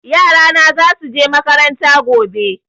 Yara na za su je makaranta gobe.